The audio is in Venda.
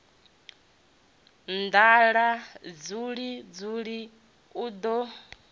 nḓala dzuli dzuli u ḓo